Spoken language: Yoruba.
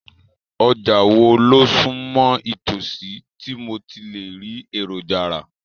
Ọjà wo ló sún mọ́ itòsí tí mo ti lè rí èròjà rà?